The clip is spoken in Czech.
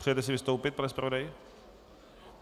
Přejete si vystoupit, pane zpravodaji?